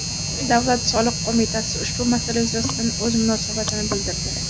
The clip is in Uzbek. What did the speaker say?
Davlat soliq qo‘mitasi ushbu masala yuzasidan o‘z munosabatini bildirdi .